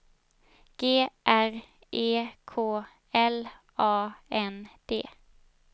G R E K L A N D